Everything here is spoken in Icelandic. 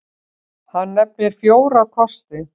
Hann nefnir fjóra kosti.